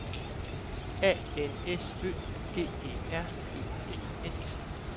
A N S Ø G E R E N S